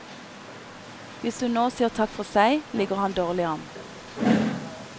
Hvis hun nå sier takk for seg, ligger han dårlig an.